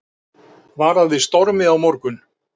Varað við stormi á morgun